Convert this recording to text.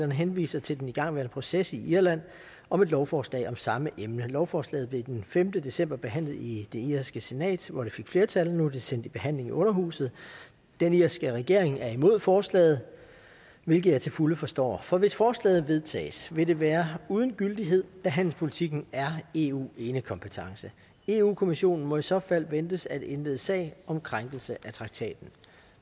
henviser til den igangværende proces i irland om et lovforslag om samme emne lovforslaget blev den femte december behandlet i det irske senat hvor det fik flertal og nu er det sendt i behandling i underhuset den irske regering er imod forslaget hvilket jeg til fulde forstår for hvis forslaget vedtages vil det være uden gyldighed da handelspolitikken er eu enekompetence europa kommissionen må i så fald ventes at indlede sag om krænkelse af traktaten